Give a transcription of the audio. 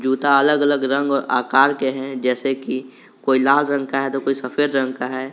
जूता अलग अलग रंग और आकार के हैं जैसे कि कोई लाल रंग का है तो कोई सफेद रंग का है।